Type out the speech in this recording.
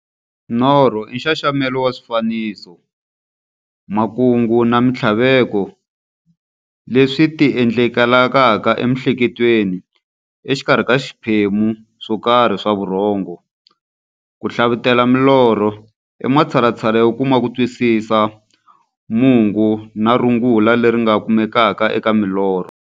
Norho i nxaxamelo wa swifaniso, makungu na minthlaveko leswi ti endlekelaka e miehleketweni exikarhi ka swiphemu swokarhi swa vurhongo. Ku hlavutela milorho i matshalatshala yo kuma kutwisisa mungo na rungula leri nga kumekaka eka milorho.